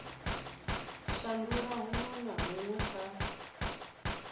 shandula huṅwe na huṅwe kha